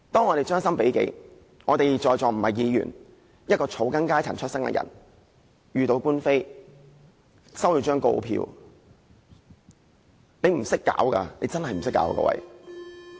我們將心比己，假設我們在座不是議員，而是草根階層，萬一遇到官非，收到告票，真的不知如何是好。